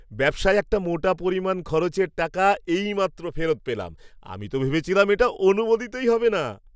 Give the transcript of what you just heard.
ব্যবসায় একটা মোটা পরিমাণ খরচের টাকা এইমাত্র ফেরত পেলাম, আমি তো ভেবেছিলাম এটা অনুমোদিতই হবে না।